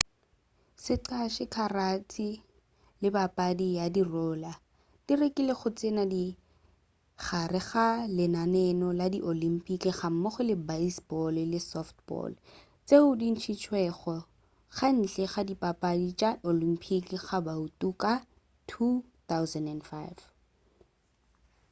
sqash karate le papadi ya roller di lekile go tsena ka gare ga lenaneo la di olympic gammogo le baseball le softball tšeo di ntšhitšwego ka ntle ga dipapadi tša di olympic ka bouto ka 2005